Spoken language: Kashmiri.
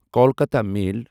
کولکاتا میل